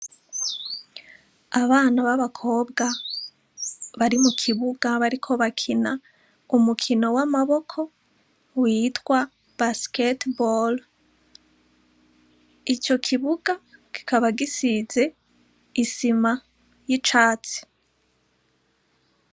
Abana b'abakobwa bari mu kibuga bariko bakina umukino w'amaboko witwa basketball. Ico kibuga kikaba gisize isima y'icatsi.